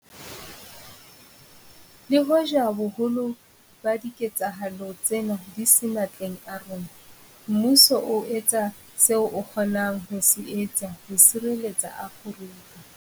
Le hoja boholo ba diketsahalo tsena di se matleng a rona, mmuso o etsa seo o kgonang ho se etsa ho sireletsa Afrika.